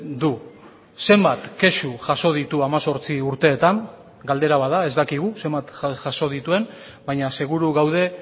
du zenbat kexu jaso ditu hemezortzi urteetan galdera bat da ez dakigu zenbat jaso dituen baina seguru gaude